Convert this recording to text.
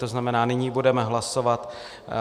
To znamená, nyní budeme hlasovat